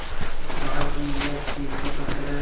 और कहा कि यह कीमती पत्थर है